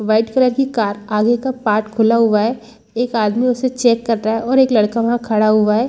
White colour की car आगे का पार्ट खुला हुआ है एक आदमी उसे चेक कर रहा है और एक लड़का वहां खड़ा हुआ है।